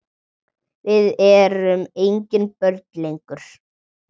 Við erum engin börn lengur.